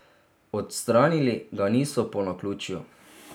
Odstranili ga niso po naključju.